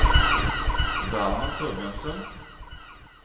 Werner Thorbjørnsen